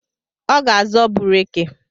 Ọ ga-azọ bureke